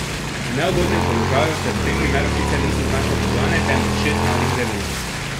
V neugodnem položaju se v tem primeru sicer niso znašle podgane, temveč šest mladih veveric.